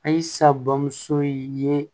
A ye sa bamuso in ye